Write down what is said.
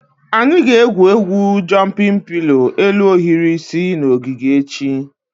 Anyị ga-egwu egwu "jụmpịn pilo" elu ohiri isi" na ogige echi